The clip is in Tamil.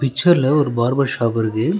பிச்சர்ல ஒரு பார்பர் ஷாப் இருக்கு.